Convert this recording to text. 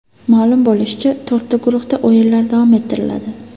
Ma’lum bo‘lishicha, to‘rtta guruhda o‘yinlar davom ettiriladi.